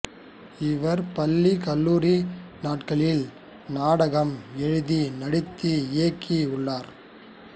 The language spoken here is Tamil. இவர் பள்ளி கல்லூரி நாட்களில் நாடகம் எழுதி நடித்து இயக்கி உள்ளார்